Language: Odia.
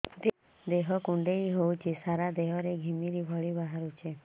ଦେହ କୁଣ୍ଡେଇ ହେଉଛି ସାରା ଦେହ ରେ ଘିମିରି ଭଳି ବାହାରୁଛି